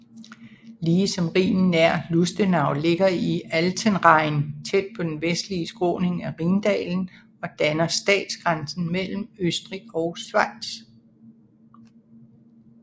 Ligesom Rhinen nær Lustenau ligger Altenrhein tæt på den vestlige skråning af Rhindalen og danner statsgrænsen mellem Østrig og Schweiz